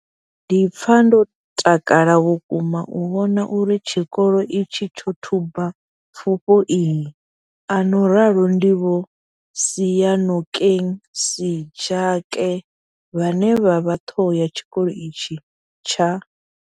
Ndi pfa ndo takala vhukuma u vhona uri tshikolo itshi tsho thuba pfufho iyi, a no ralo ndi Vho Seyanokeng Sejake vhane vha vha ṱhoho ya tshikolo itshi tsha.